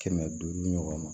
Kɛmɛ duuru ɲɔgɔnna